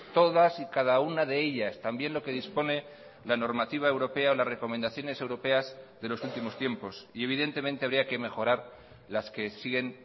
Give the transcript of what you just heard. todas y cada una de ellas también lo que dispone la normativa europea las recomendaciones europeas de los últimos tiempos y evidentemente habría que mejorar las que siguen